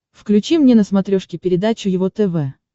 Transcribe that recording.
включи мне на смотрешке передачу его тв